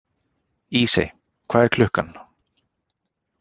Ísey, hvað er klukkan?